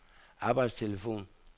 arbejdstelefon